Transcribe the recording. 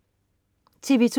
TV2: